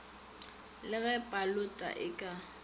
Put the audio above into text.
le ge paloto e ka